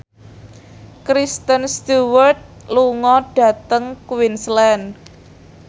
Kristen Stewart lunga dhateng Queensland